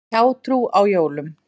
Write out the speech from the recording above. Hjátrú á jólum.